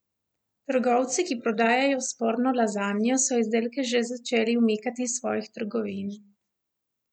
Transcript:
Trgovci, ki prodajajo sporno lazanjo, so izdelke že začeli umikati iz svojih trgovin.